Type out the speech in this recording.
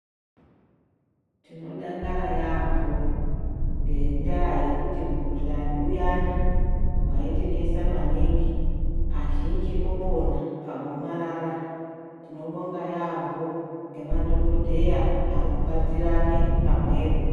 Tinodakara yaamho ngendaa yekuti mukuhlani uya na waitinesa maningi azhinji opona pa gomarara .Tinobonga yambo ngema dhokodheya arikubatirane pamwepo.